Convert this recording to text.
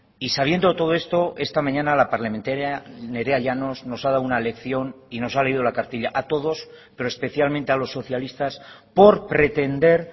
y sabiendo todo esto esta mañana la parlamentaria nerea llanos nos ha dado una lección y nos ha leído la cartilla a todos pero especialmente a los socialistas por pretender